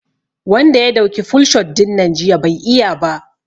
Wanda ya dauki full shot dinnan jiya bai iya ba